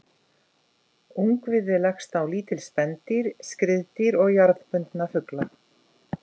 Ungviði leggst á lítil spendýr, skriðdýr og jarðbundna fugla.